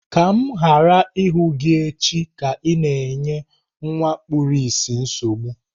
Ka m ghara ịhụ gị echi ka ị na-enye nwa kpuru ìsì nsogbu!